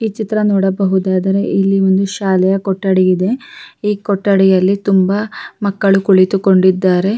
ಈ ಚಿತ್ರ ನೋಡಬಹುದಾದರೆ ಇಲ್ಲಿ ಒಂದು ಶಾಲೆಯ ಕೊಠಡಿ ಇದೆ ಈ ಕೊಠಡಿಯಲ್ಲಿ ತುಂಬಾ ಮಕ್ಕಳು ಕುಳಿತು ಕೊಂಡಿದ್ದಾರೆ-